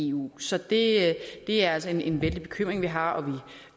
eu så det er altså en vældig bekymring vi har og vi